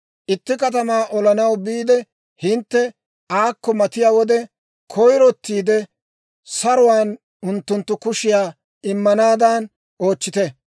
«Itti katamaa olanaw biide hintte aakko matiyaa wode, koyirottiide saruwaan unttunttu kushiyaa immanaadan oochchite.